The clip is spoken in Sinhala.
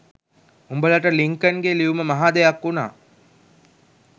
උඹලට ලින්කන්ගේ ලියුම මහා දෙයක් උනා